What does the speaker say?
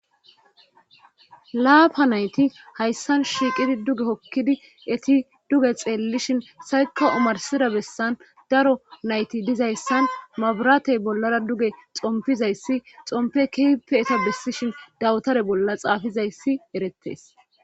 laapa nayti hayssan shiiqidi duge hokkidi eti duge xeellishin sayka omarsida bessan daro nayti dizayssan mabratey bollara duge xompizayssi xompe kipe eta bessi shin dawutare bolla xaafizayssi erettes